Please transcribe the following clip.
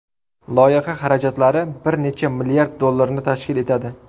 Loyiha xarajatlari bir necha milliard dollarni tashkil etadi.